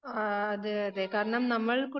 ആഹ് അതെ അതേ കാരണം നമ്മൾ